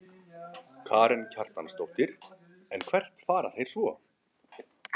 Karen Kjartansdóttir: En hvert fara þeir svo?